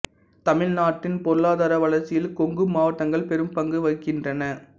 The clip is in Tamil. தமிழ்நாட்டின் பொருளாதார வளர்ச்சியில் கொங்கு மாவட்டங்கள் பெரும் பங்கு வகிக்கின்றன